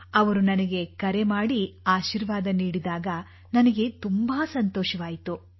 ಅವರು ನನಗೆ ಕರೆ ಮಾಡಿ ಆಶೀರ್ವಾದ ನೀಡಿದಾಗ ನನಗೆ ತುಂಬಾ ತುಂಬಾ ಸಂತೋಷವಾಯಿತು